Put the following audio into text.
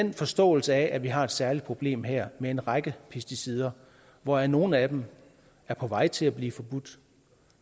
en forståelse af at vi har et særligt problem her med en række pesticider hvoraf nogle af dem er på vej til at blive forbudt